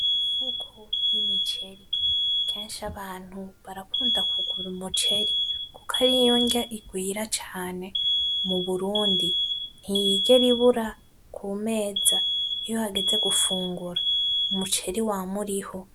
Imifuko y'imiceri, kenshi abantu barakunda kugura umuceri kuko ariyo nrya rigwira cane mu burundi, ntiyigera ibura kumeza iyo hageze gufungura. Umuceri wama uriho.